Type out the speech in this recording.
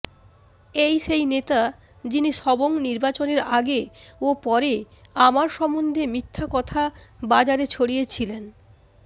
এই সেই নেতা যিনি সবং নির্বাচনের আগে ও পরে আমার সম্বন্ধে মিথ্যা কথা বাজারে ছড়িয়েছিলেন